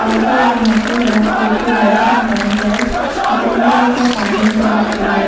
Also we can observe there are two tube-lights and current wires the current wires are passing through the tube-lights.